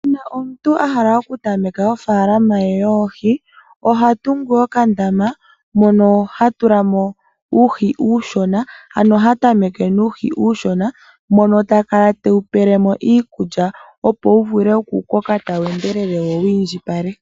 Omuntu a hala okutameka ofalama ye yoohi oha tungu oka ndama mono ha tula mo uuhi uushona ano ha tameke nuuhi uushona mono ta kala tewu pelemo iikulya opo wu vule oku koka tawu endelele wo wu indjipale.